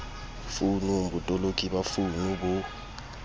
founung botoloki ba founu bo